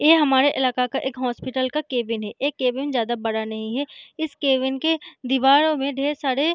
ए हमारे इलाके का एक हॉस्पिटल का केबिन है ए केबिन ज्यादा बड़ा नहीं है इस केबिन के दीवारों में ढेर सारे --